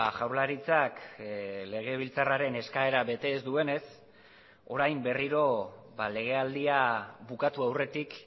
jaurlaritzak legebiltzarraren eskaera bete ez duenez orain berriro legealdia bukatu aurretik